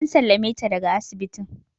An sallame ta daga asibitin